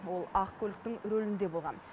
ол ақ көліктің рөлінде болған